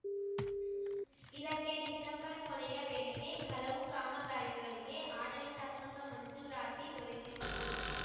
ಇದಕ್ಕೆ ಡಿಸೆಂಬರ್‌ ಕೊನೆಯ ವೇಳೆಗೆ ಹಲವು ಕಾಮಗಾರಿಗಳಿಗೆ ಆಡಳಿತಾತ್ಮಕ ಮಂಜೂರಾತಿ ದೊರೆತಿರುವುದು